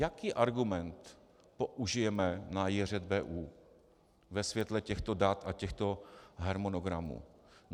Jaký argument použijeme na JŘBU ve světle těchto dat a těchto harmonogramů?